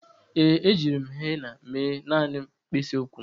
Ee, ejiri m henna mee naanị mkpịsị ụkwụ m.